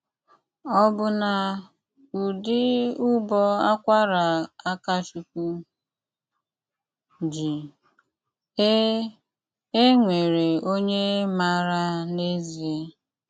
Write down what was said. Ọbụ́ná údị́ ụbọ́ ákwará Ákachụ́kwú jí, é é nwéwéré ónyé máárá n’ezié.